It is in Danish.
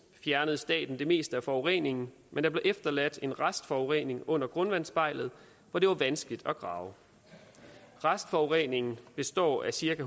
fjernede staten det meste af forureningen men der blev efterladt en restforurening under grundvandsspejlet hvor det var vanskeligt at grave restforureningen består af cirka